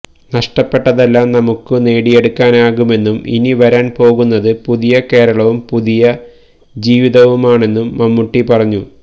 നഷ്ടപ്പെട്ടതെല്ലാം നമുക്ക് നേടിയെടുക്കാനാകുെമന്നും ഇനി വരാൻ പോകുന്നത് പുതിയ കേരളവും പുതിയ ജീവിതവുമാണെന്നും മമ്മൂട്ടി പറഞ്ഞു